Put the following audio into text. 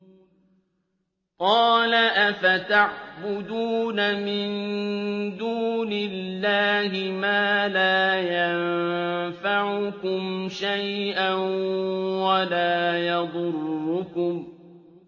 قَالَ أَفَتَعْبُدُونَ مِن دُونِ اللَّهِ مَا لَا يَنفَعُكُمْ شَيْئًا وَلَا يَضُرُّكُمْ